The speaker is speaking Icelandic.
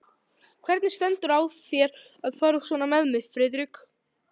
Hvernig stendur á þér að fara svona með mig, Friðrik?